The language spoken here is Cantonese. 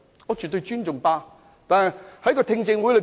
我絕對尊重大律師公會。